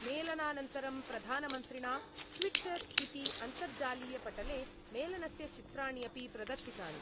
मेलनानन्तरं प्रधानमन्त्रिणा ट्वीटर् इति अन्तर्जालीयपटले मेलनस्य चित्राणि अपि प्रदर्शितानि।